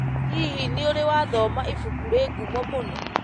Hihi, nĩ ũrĩ wathoma ibuku rĩ ngumo mũno?